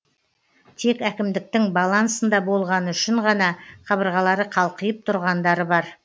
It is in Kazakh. тек әкімдіктің балансында болғаны үшін ғана қабырғалары қалқиып тұрғандары бар